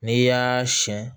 N'i y'aaa siyɛn